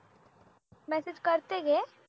message करते घे